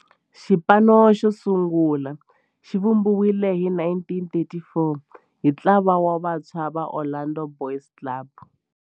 Xipano xosungula xivumbiwile hi 1934 hi ntlawa wa vantshwa va Orlando Boys Club.